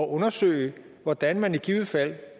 undersøge hvordan man i givet fald